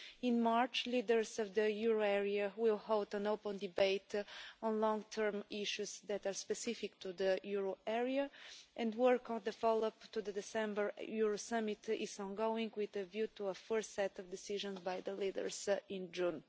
In March, leaders of the euro area will hold an open debate on long-term issues that are specific to the euro area, and work on the follow up to the December Euro Summit is ongoing, with a view to a first set of decisions by the leaders in June.